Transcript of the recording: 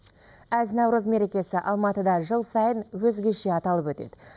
әз наурыз мерекесі алматыда жыл сайын өзгеше аталып өтеді